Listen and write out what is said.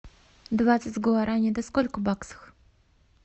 двадцать гуарани это сколько баксов